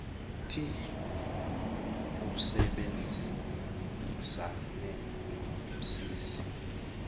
thi usebenzisane nomsizi